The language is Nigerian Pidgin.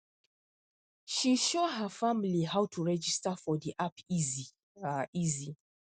she show her family how to register for the app easy um easy